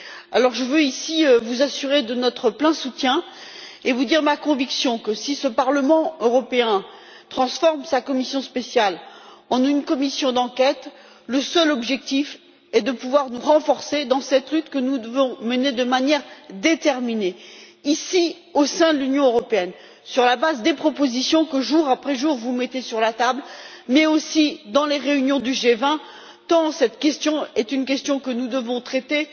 Alors je veux ici vous assurer de notre soutien plein et entier et vous dire ma conviction que, si ce Parlement européen transforme sa commission spéciale en une commission d'enquête, le seul objectif est de pouvoir consolider notre position dans cette lutte que nous devons mener de manière déterminée, ici, au sein de l'Union européenne, sur la base des propositions que, jour après jour, vous mettez sur la table, mais aussi dans les réunions du G20, tant cette question est une question que nous devons traiter